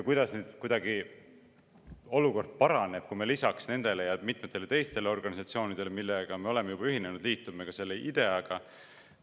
Kuidas nüüd olukord paraneb, kui me lisaks nendele ja mitmetele teistele organisatsioonidele, millega me oleme juba ühinenud, liitume ka selle IDEA‑ga?